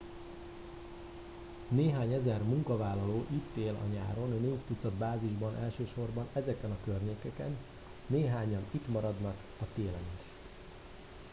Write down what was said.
néhány ezer munkavállaló itt él a nyáron négy tucat bázisban elsősorban ezeken a környékeken néhányan itt maradnak a télen is